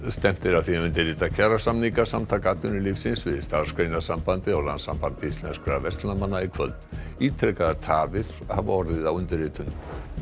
stefnt er að því að undirrita kjarasamninga Samtaka atvinnulífsins við Starfsgreinasambandið og Landssamband íslenskra verslunarmanna í kvöld ítrekaðar tafir hafa orðið á undirritun